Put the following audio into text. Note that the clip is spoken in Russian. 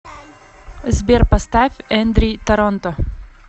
сбер поставь эндри торонто